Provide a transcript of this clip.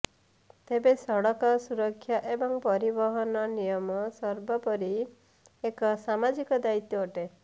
ତେବେ ସଡକ ସୁରକ୍ଷା ଏବଂ ପରିବହନ ନିୟମ ସର୍ବୋପରି ଏକ ସାମାଜିକ ଦାୟିତ୍ୱ ଅଟେ